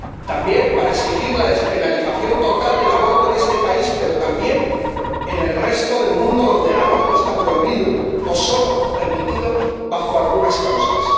También para exigir la despenalización total del aborto en este país, pero también en otras partes del mundo donde el aborto está prohibido o solo permitido en algunas circunstancias.